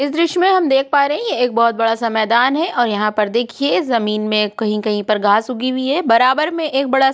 इस द्रिश्य में हम देख पा रहें हैं यह एक बहुत बड़ा सा मैदान है और यहाँ पर देखिए जमीन में कहीं-कहीं पर घास उगी हुई है बराबर में एक बड़ा सा --